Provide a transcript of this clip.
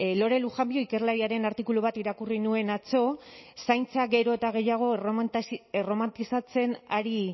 lore lujanbio ikerlariaren artikulu bat irakurri nuen atzo zaintza gero eta gehiago erromantizatzen ari